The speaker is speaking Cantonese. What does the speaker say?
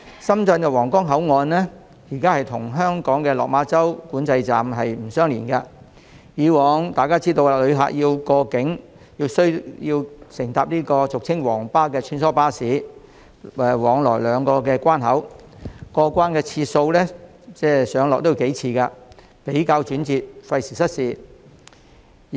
深圳的皇崗口岸與香港的落馬洲管制站並不相連，而一如大家所知，需要過境的旅客須乘搭俗稱"皇巴"的穿梭巴士往來兩地關口，不但要上落車數次，而且過程轉折，費時失事。